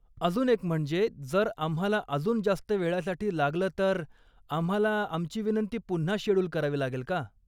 अजून एक म्हणजे, जर आम्हाला अजून जास्त वेळासाठी लागलं तर आम्हाला आमची विनंती पुन्हा शेड्यूल करावी लागेल का?